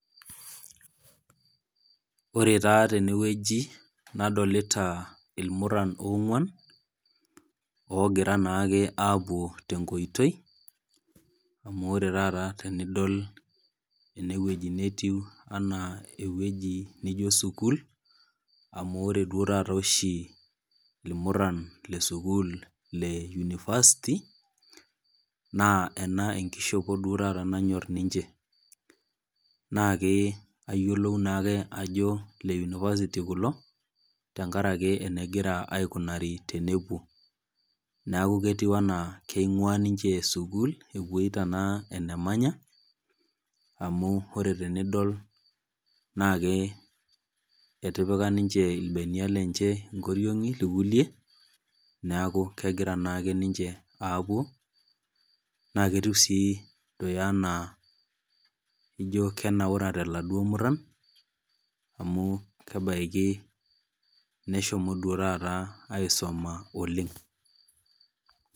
Ore taa tenewueji nadolita irmurran ong'uan, ogira naake apuo tenkoitoi, amu ore taata tenidol enewueji netiu enaa ewueji nijo sukuul, amu ore duo taata oshi irmurran lesukul le University, naa ena enkishopo duo taata nanyor ninche. Na ke ayiolou nake ajo le University kulo, tenkaraki enegira aikunari tenepuo. Neeku ketiu enaa keing'ua ninche sukuul, epoita naa enemanya, amu ore tenidol naa ke etipika ninche irbenia lenche ingoriong'i irkulie, neeku kegira naake ninche apuo, na ketiu si enaa ijo kenaurate laduo murran, amu kebaiki neshomo duo taata aisuma oleng.